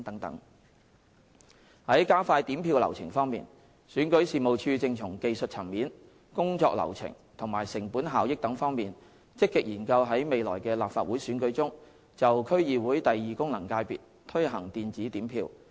在加快點票流程方面，選舉事務處正從技術層面、工作流程及成本效益等方面，積極研究在未來的立法會選舉中，就區議會功能界別推行電子點票。